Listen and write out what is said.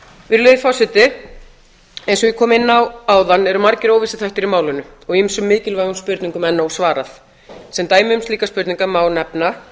virðulegi forseti eins og ég kom inn á áðan eru margir óvissuþættir í málinu og ýmsum mikilvægum spurningum enn ósvarað sem dæmi um slíkar spurningar má nefna